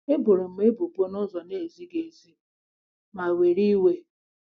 E boro m ebubo n’ụzọ na-ezighị ezi ma were iwe.